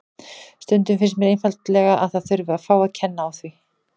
Stundum finnst mér einfaldlega að það þurfi að fá að kenna á því.